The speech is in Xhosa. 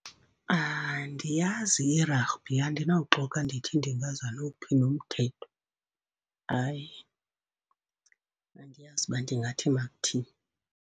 Andiyazi i-rugby, andinawuxoka ndithi ndingaza nowuphi na umthetho. Hayi, andiyazi uba ndingathi makuthini.